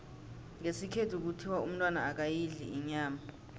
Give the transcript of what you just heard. ngesikhethu kuthiwa umntwana akayidli inyama